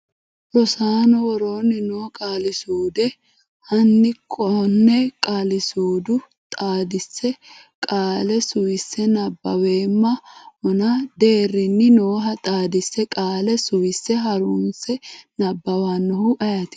Rosaano, woroonni noo qaalisuude Hanni konne qaalisuudu xaadise qaale suwise nabbaweemma ona deerrinni nooha xaadise qaale suwise ha’runse nabbawannoehu ayeeti?